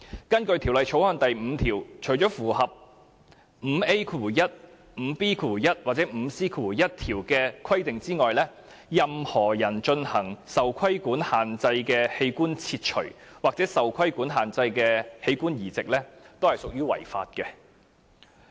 根據《條例》第5條，除符合第 5A1、5B1 或 5C1 條的規定外，任何人進行受規限器官切除或受規限器官移植，均屬違法。